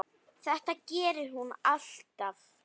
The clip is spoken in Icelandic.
Þetta gerir hún alltaf.